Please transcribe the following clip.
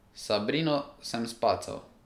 Sabrino sem spacal.